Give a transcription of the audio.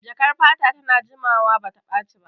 Jakar fata ta na jimawa bata ɓaci ba